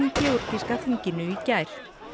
í georgíska þinginu í gær